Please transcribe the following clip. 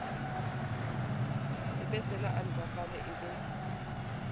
ebesela a ntjhafale e be